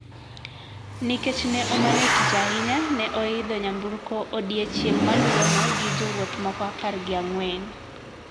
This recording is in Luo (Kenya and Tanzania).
Nikech ne omanyo tich ahinya ne oidho nyamburko odiechieng` maluwono gi jowuoth moko apar gi ang`wen.